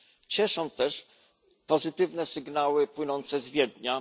Cieszą też pozytywne sygnały płynące z Wiednia.